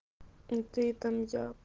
и ты там я